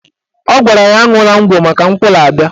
Ọ gwara ya aṅwụla ngwọ maka nkwụ na-abịa